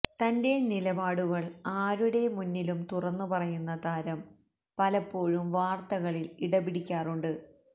തന്റെ നിലപാടുകൾ ആരുടെ മുന്നിലും തുറന്ന് പറയുന്ന താരം പലപ്പോഴും വാർത്തകളിൽ ഇടപിടിക്കാറുണ്ട്